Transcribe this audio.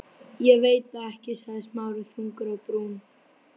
Ég veit það ekki- sagði Smári þungur á brún.